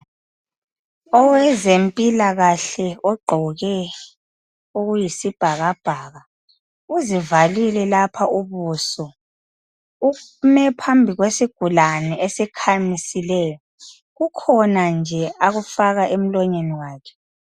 Owempilakahle ogqoke okuyisibhakabhaka uzivalile lapha ubuso ume phambi kwesigulane esikhamisileyo. Kukhona nje akufaka emlonyeni wakhe.